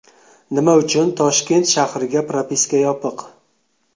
Nima uchun Toshkent shahriga propiska yopiq?